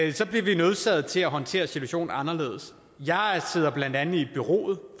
ikke så bliver vi nødsaget til at håndtere situationen anderledes jeg sidder blandt andet i bureauet